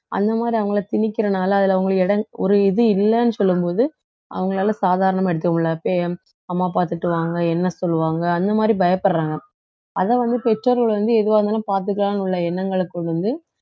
அந்த மாதிரி அவங்களை திணிக்கிறனால அதுல அவங்களுக்கு இடம் ஒரு இது இல்லைன்னு சொல்லும் போது அவங்களால சாதாரணமா எடுத்துக்க முடியல அம்மா அப்பா திட்டுவாங்க என்ன சொல்லுவாங்க அந்த மாதிரி பயப்படுறாங்க அதை வந்து பெற்றோர்கள் வந்து எதுவா இருந்தாலும் பாத்துக்கலாம்ன்னு உள்ள எண்ணங்களை கொண்டு வந்து